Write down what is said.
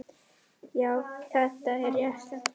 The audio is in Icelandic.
Já, þetta er rétt.